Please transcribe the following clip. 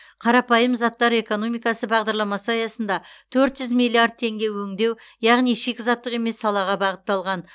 қарапайым заттар экономикасы бағдарламасы аясында төрт жүз миллиард теңге өңдеу яғни шикізаттық емес салаға бағытталған